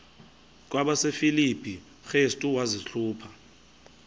kwabasefilipi restu wazihluba